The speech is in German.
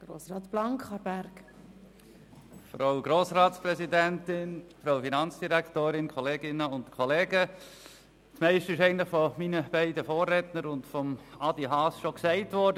Das meiste ist von meinen Vorrednern und von Grossrat Haas bereits gesagt worden.